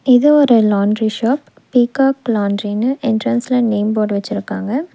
இது ஒரு laundry shop peacock லாண்டரின்னு என்ட்ரன்ஸ்ல நேம் போர்ட் வச்சிருக்காங்க.